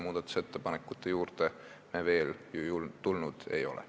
Muudatusettepanekute juurde me ju veel tulnud ei ole.